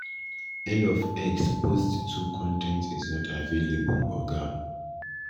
end of x post 2 con ten t is not available oga